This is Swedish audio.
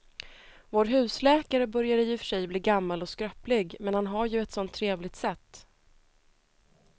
Vår husläkare börjar i och för sig bli gammal och skröplig, men han har ju ett sådant trevligt sätt!